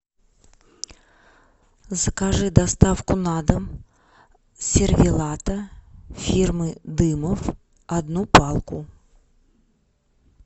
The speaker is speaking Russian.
закажи доставку на дом сервелата фирмы дымов одну палку